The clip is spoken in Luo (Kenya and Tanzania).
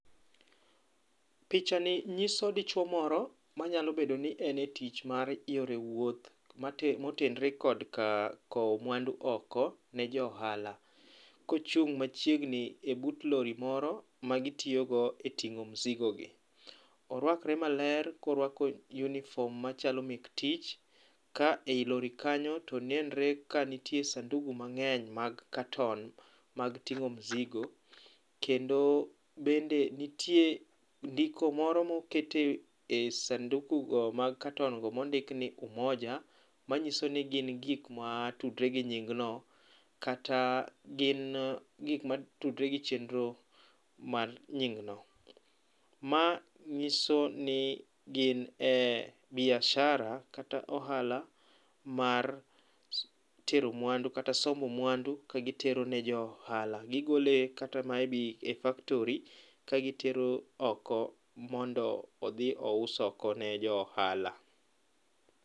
Pichani nyiso dichuo moro manyalo bedo ni en e tich mar yore wuoth motenore kod ka kowo mwandu oko ne jo ohala kochung' machiegni e but lori moro magitiyogo eyor ting'o musigogi. Oruakre maler koruako uniform machalo mek tich ka ei lori kanyo to nenre kanitie sanduku mang'eny mag katon mag ting'o musigo kendo bende nitie ndiko moro moket e sanduku go mag katon go mondik ni Umoja manyiso ni gin gik matudre gi nying no kata gin gik matudre gi chenro mar nying no. Ma nyiso ni gin e biashara kata ohala mar tero mwandu kata sombo mwandu ka gitero ne jo ohala gigolo kata maybe e factory ka gitero oko mondo odhi ous oko ne jo ohala.